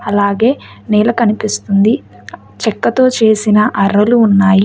అలాగే నేల కనిపిస్తుంది చెక్కతో చేసిన అరలు ఉన్నాయి.